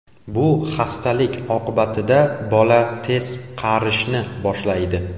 Bu xastalik oqibatida bola tez qarishni boshlaydi.